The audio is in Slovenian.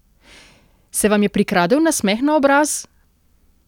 Se vam je prikradel nasmeh na obraz?